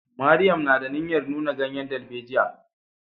Mariam na da niyyar nuna ganyen darbejiya.